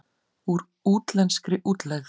Úr útlenskri útlegð.